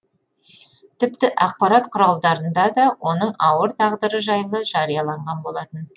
тіпті ақпарат құралдарында да оның ауыр тағдыры жайлы жарияланған болатын